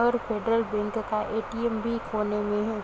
और Federal Bank का ATM भी कोने में है